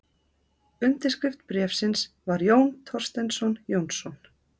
Undirskrift bréfsins var Jón Thorsteinsson Jónsson.